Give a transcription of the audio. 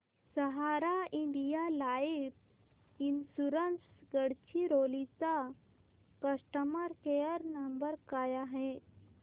सहारा India life insurance Gadchiroli चा customer care number काय आहे